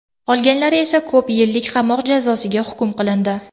Qolganlari esa ko‘p yillik qamoq jazosiga hukm qilindi.